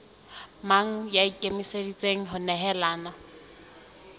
mang ya ikemiseditseng ho nehelana